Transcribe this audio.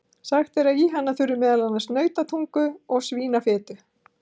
Sagt er að í hana þurfi meðal annars nautatungu og svínafitu.